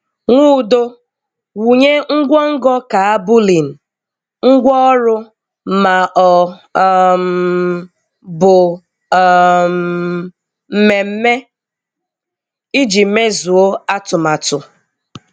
Nwụdo – Wụnye ngwongọ́ káàbùlìng,, ngwaọrụ, ma ọ um bụ um mmemme iji mezuo atụmatụ.